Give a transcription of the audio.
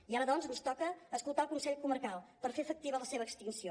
i ara doncs ens toca escoltar el consell comarcal per fer efectiva la seva extinció